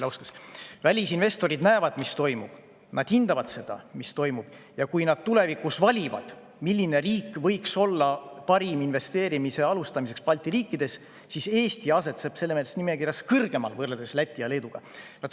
– A. S.], nad hindavad seda, mis toimub ja kui nad tulevikus valivad, milline riik võiks olla parim investeerimise alustamiseks Balti riikides, siis Eesti asetseb selles nimekirjas kõrgemal võrreldes Läti ja Leeduga.